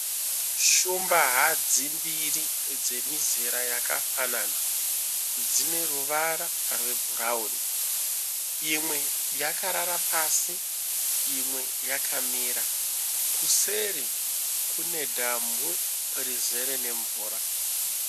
Shumba hadzi mbiri dzemizera yakafanana dzine ruvara rwe brown, imwe yakarara pasi imwe yakamira. Kuseri kune dhamu rizere ne mvura